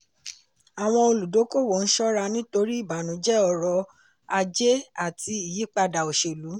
àwọn olùdókòwò ń ṣọ́ra nítorí ìbànújẹ ọrọ̀ ajé àti ìyípadà oselú.